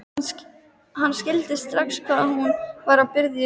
Hann skildi strax hvað hún var að biðja um.